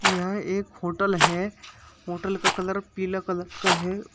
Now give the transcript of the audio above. यह एक होटल है होटल का कलर पीला कलर का है।